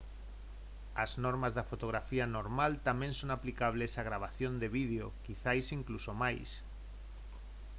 as normas da fotografía normal tamén son aplicables á gravación de vídeo quizais incluso máis